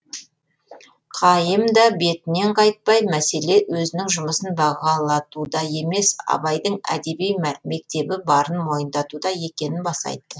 қайым да бетінен қайтпай мәселе өзінің жұмысын бағалатуда емес абайдың әдеби мектебі барын мойындатуда екенін баса айтты